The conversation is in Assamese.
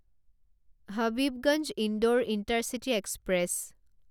Habibganj Indore intercity express